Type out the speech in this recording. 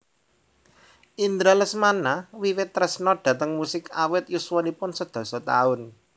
Indra Lesmana wiwit tresna dhateng musik awit yuswaniun sedasa taun